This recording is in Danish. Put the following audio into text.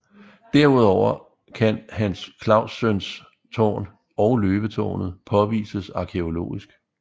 Derudover kan Hans Claussøns Tårn og Løvetårnet påvises arkæologisk